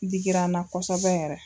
Digira n na kɔsɛbɛ yɛrɛ